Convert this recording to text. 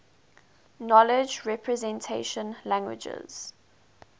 knowledge representation languages